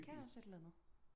Men det kan også et eller andet